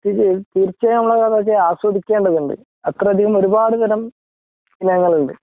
തീർച്ചയായും നമ്മളതൊക്കെ ആസ്വദിക്കേണ്ടതുണ്ട് അത്രയധികം ഒരുപാട് തരം ഇനങ്ങളുണ്ട്